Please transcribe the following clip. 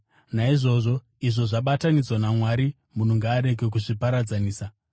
Naizvozvo izvo zvabatanidzwa naMwari, munhu ngaarege kuzviparadzanisa.”